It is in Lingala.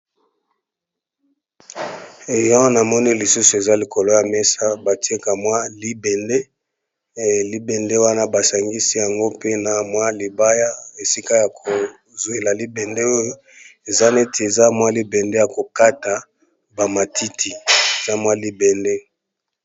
ya na moni lisusu eza likolo ya mesa batieka mwa libende wana basangisi yango pe na mwa libaya esika ya kozwela libende oyo eza neti eza mwa libende ya kokata bamatiti eza mwa libende